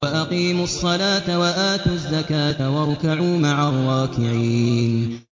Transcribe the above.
وَأَقِيمُوا الصَّلَاةَ وَآتُوا الزَّكَاةَ وَارْكَعُوا مَعَ الرَّاكِعِينَ